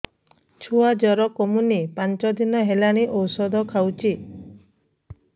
ଛୁଆ ଜର କମୁନି ପାଞ୍ଚ ଦିନ ହେଲାଣି ଔଷଧ ଖାଉଛି